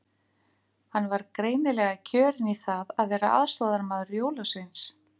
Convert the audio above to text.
Hann var greinilega kjörinn í það að vera aðstoðarmaður jólasveins.